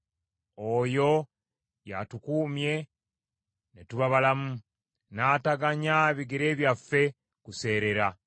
Oyo y’atukuumye ne tuba balamu, n’ataganya bigere byaffe kuseerera.